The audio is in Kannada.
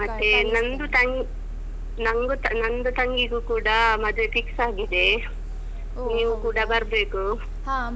ಮತ್ತೆ ನಂದು ತಂ~ ನಂಗು ನಂದು ತಂಗಿಗೂ ಕೂಡ ಮದ್ವೆ fix ಆಗಿದೆ. ನೀವು ಕೂಡ ಬರ್ಬೇಕು.